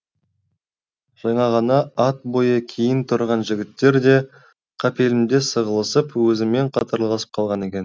жаңа ғана ат бойы кейін тұрған жігіттер де қапелімде сығылысып өзімен қатарласып қалған екен